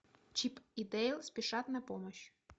чип и дейл спешат на помощь